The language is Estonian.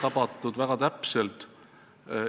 Jälle väga täpselt tabatud.